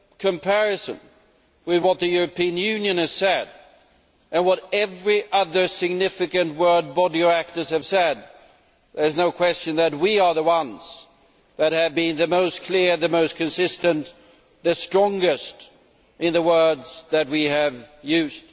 a comparison with what the European Union has said, and what every other significant world body of actors has said, there is no question that we are the ones that have been the most clear, the most consistent, the strongest in the words that we have used.